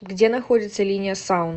где находится линия саун